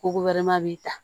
Ko b'i ta